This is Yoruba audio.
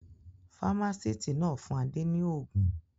Fámásíítì náà fún Adé ní òògùn.